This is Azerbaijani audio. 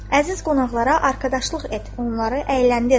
Əziz qonaqlara arkadaşlıq et, onları əyləndir.